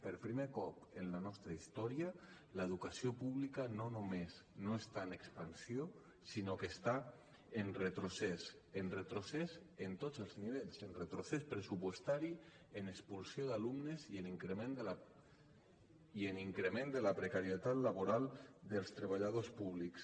per primer cop en la nostra història l’educació pública no només no està en expansió sinó que està en retrocés en retrocés a tots els nivells en retrocés pressupostari en expulsió d’alumnes i en increment de la precarietat laboral dels treballadors públics